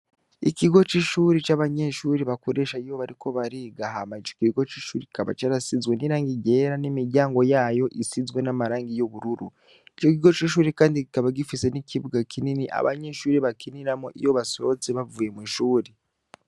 Ikigo c'ishuri c'abanyeshuri bakoresha iyo bariko barigahamayijoka ikigo c'ishuri gikaba co arasizwe n'iranga igera n'imiryango yayo isizwe n'amarangi y'ubururu ico kigo c'ishuri, kandi gikaba gifise n'ikibuga kinini abanyeshuri bakiniramo iyo basohoze bavuye mw'ishuri.